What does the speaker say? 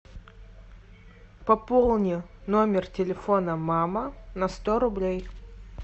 пополни номер телефона мама на сто рублей